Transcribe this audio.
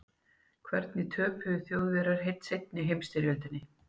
hvernig töpuðu þjóðverjar seinni heimsstyrjöldinni